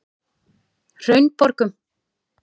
Hraunborgum